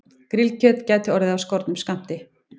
Grillkjöt gæti orðið af skornum skammti